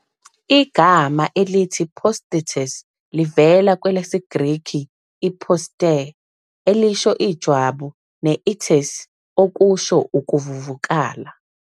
Igama elithi posthitis livela kwelesiGrikhi "posthe", elisho ijwabu, ne "-itis", okusho ukuvuvukala.